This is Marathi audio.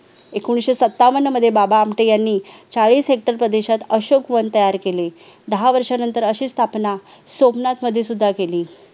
एकिणीशे सत्तावन्न मध्ये बाबा आमटे यांनी चाळीस हेक्टर प्रदेशात अशोक वन तयार केले दहा वर्षानंतर अशी स्थापना सोमनाथ मध्ये सुद्धा केली